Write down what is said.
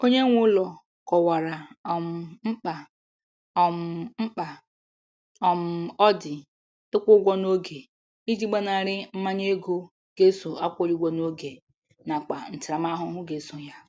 Onye nwe ụlọ kọwara um mkpa um mkpa um ọ dị ịkwụ ụgwọ n'oge iji gbanarị mmanye ego ga eso akwụghị ụgwọ n'oge nakwa ntaramahụhụ ga eso ya.